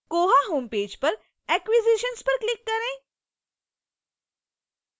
koha home page पर acquisitions पर click करें